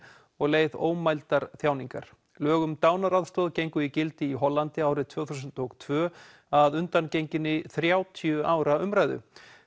og leið ómældar þjáningar lög um dánaraðstoð gengu í gildi í Hollandi árið tvö þúsund og tvö að undangenginni þrjátíu ára umræðu